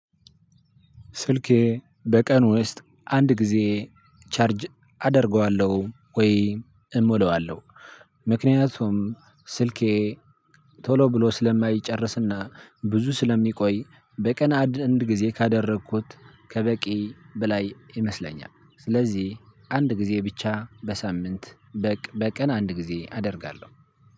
ስልኬ በቀን ውስጥ አንድ ጊዜ ቻርጅ አደርገዋለሁ ወይ እሞላዋለሁ። ምክንያቱም ስልኬ ቶሎ ብሎ ስለማይጨርስና ብዙ ስለሚቆይ በቀን አንድ አንድ ጊዜ ካደረኩት ከበቂ በላይ ይመስለኛል። ስለዚህ አንድ ጊዜ ብቻ በሳምንት በቀን አንድ ጊዜ አደርጋለሁ።